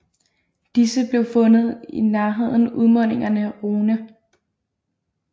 Disse blev fundet i nærheden udmundingerne Rhône